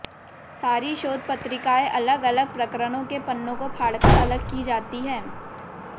सारी शोध पत्रिकाएँ अलग अलग प्रकरणों के पन्नो को फाडकर अलग की जाती है